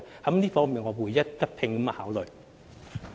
這方面我會一併考慮。